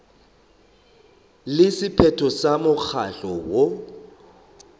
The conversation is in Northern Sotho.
le sephetho sa mokgatlo woo